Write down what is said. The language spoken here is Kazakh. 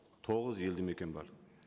тоғыз елді мекен бар